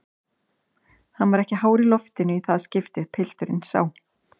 Hann var ekki hár í loftinu í það skiptið, pilturinn sá.